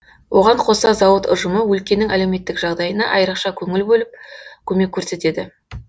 оған қоса зауыт ұжымы өлкенің әлеуметтік жағдайына айырықша көңіл бөліп көмек көрсетеді